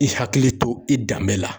I hakili to i danbe la.